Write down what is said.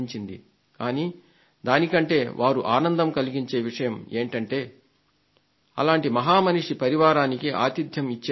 కానీ దానికంటే ఆనందం కలిగించే విషయం ఏమిటంటే అలాంటి మహా మనిషి పరివారానికి ఆతిథ్యం ఇచ్చే అవకాశం